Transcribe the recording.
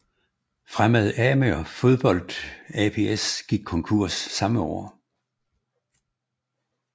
Fremad Amager Fodbold ApS gik konkurs samme år